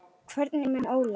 Hvernig er með hann Óla?